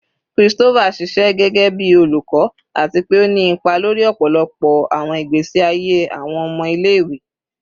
Christopher ṣiṣẹ gẹgẹbi olukọ ati pe o ni ipa lori ọpọlọpọ awọn igbesi aye awọn ọmọ ile-iwe